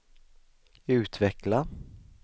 utveckla